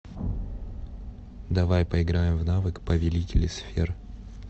давай поиграем в навык повелители сфер